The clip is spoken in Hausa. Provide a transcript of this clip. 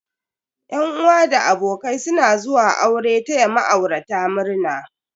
Yan uwa da abokai suna zuwa aure taya ma'aurata murna.